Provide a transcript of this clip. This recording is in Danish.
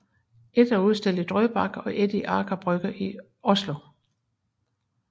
Et er udstillet i Drøbak og et i Aker Brygge i Oslo